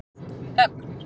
Ögn